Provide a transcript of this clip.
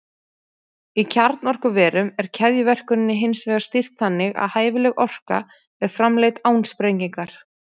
Í kjarnorkuverum er keðjuverkuninni hins vegar stýrt þannig að hæfileg orka er framleidd án sprengingar.